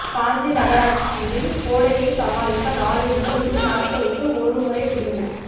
காஞ்சி நகராட்சியில் கோடையை சமாளிக்க நாளை முதல் இரு நாட்களுக்கு ஒரு முறை குடிநீர்